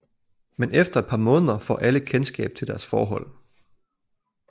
Men efter et par måneder får alle kendskab til deres forhold